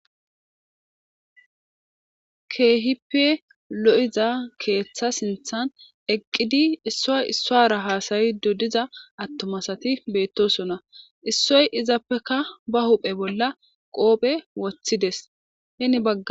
Keehippe lo'iza keeththa sinthan eqqidi issoy issoara hasayi du diza attomasati beettosona issoy izappeka ba huphe bolla qoophe wothideshen baga.